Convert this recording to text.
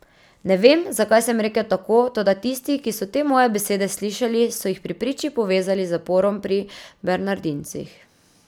Ne vem, zakaj sem rekel tako, toda tisti, ki so te moje besede slišali, so jih pri priči povezali z zaporom pri bernardincih.